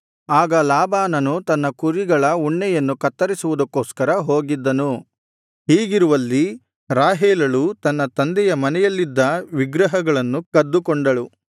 ಆಗ ಲಾಬಾನನು ತನ್ನ ಕುರಿಗಳ ಉಣ್ಣೆಯನ್ನು ಕತ್ತರಿಸುವುದಕ್ಕೋಸ್ಕರ ಹೋಗಿದ್ದನು ಹೀಗಿರುವಲ್ಲಿ ರಾಹೇಲಳು ತನ್ನ ತಂದೆಯ ಮನೆಯಲ್ಲಿದ್ದ ವಿಗ್ರಹಗಳನ್ನು ಕದ್ದುಕೊಂಡಳು